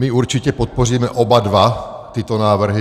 My určitě podpoříme oba dva tyto návrhy.